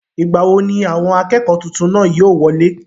ìgbà wo ni àwọn akẹ́kọ̀ọ́ tuntun náà yóò wọlé?